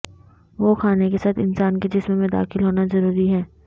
وہ کھانے کے ساتھ انسان کے جسم میں داخل ہونا ضروری ہے